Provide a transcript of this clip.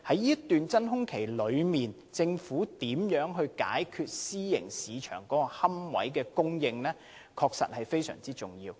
在這段真空期內，政府如何解決私營市場的龕位供應問題，確實至關重要。